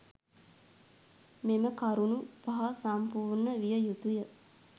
මෙම කරුණු පහ සම්පූර්ණ විය යුතුය.